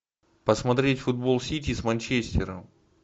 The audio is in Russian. посмотреть футбол сити с манчестером